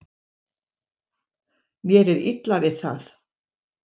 Mér er illa við það.